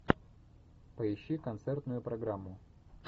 поищи концертную программу